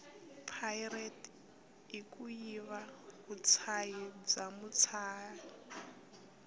pirate ikuyiva vutshayi bwamutshayi